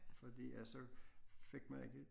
Fordi at så fik man ikke